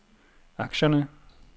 aktierne